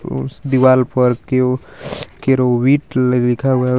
उस दिवाली पर क्यू कीरुविट ल-लिखा हुआ हे.